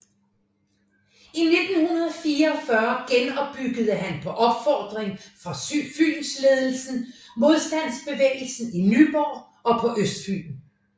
I 1944 genopbyggede han på opfordring fra Fynsledelsen modstandsbevægelsen i Nyborg og på Østfyn